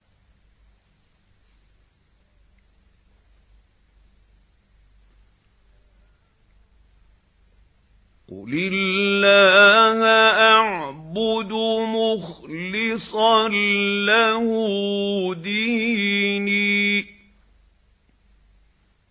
قُلِ اللَّهَ أَعْبُدُ مُخْلِصًا لَّهُ دِينِي